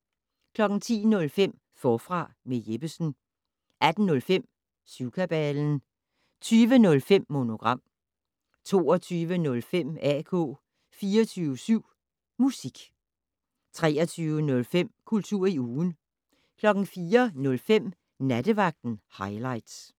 10:05: Forfra med Jeppesen 18:05: Syvkabalen 20:05: Monogram 22:05: AK 24syv Musik 23:05: Kultur i ugen 04:05: Nattevagten Highligts